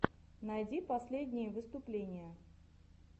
найди последние выступления